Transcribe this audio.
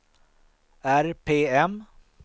RPM